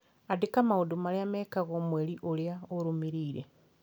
andĩka maũndũ marĩa mekagwo mweri ũrĩa ũrũmĩrĩire